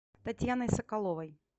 татьяной соколовой